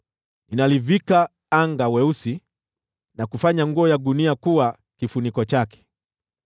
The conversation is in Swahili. Ninalivika anga weusi na kufanya nguo ya gunia kuwa kifuniko chake.”